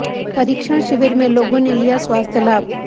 परीक्षण शिविर में लोगों ने लिया स्वास्थ्य लाभ